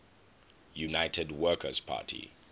united workers party